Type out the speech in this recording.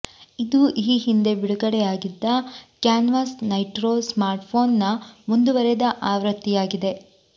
ಇದು ಈ ಹಿಂದೆ ಬಿಡುಗಡೆ ಆಗಿದ್ದ ಕ್ಯಾನ್ವಾಸ್ ನೈಟ್ರೊ ಸ್ಮಾರ್ಟ್ಫೋನ್ನ ಮುಂದುವರೆದ ಆವೃತ್ತಿಯಾಗಿದೆ